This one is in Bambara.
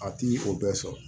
A ti o bɛɛ sɔrɔ